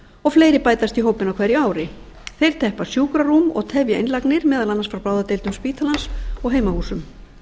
og fleiri bætast í hópinn á hverju ári þeir teppa sjúkrarúm og tefja innlagnir meðal annars frá bráðadeildum spítalans og heimahúsum